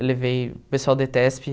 Eu levei... O pessoal da ETESP.